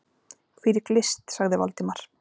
Hvílík list! sagði Valdimar.